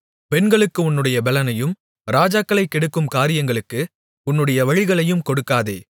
பெண்களுக்கு உன்னுடைய பெலனையும் ராஜாக்களைக் கெடுக்கும் காரியங்களுக்கு உன்னுடைய வழிகளையும் கொடுக்காதே